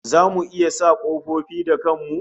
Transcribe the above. Zamu iya sa kofofin da kan mu?